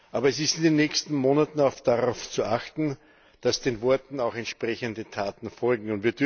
Aber es ist in den nächsten Monaten auch darauf zu achten, dass den Worten auch entsprechende Taten folgen.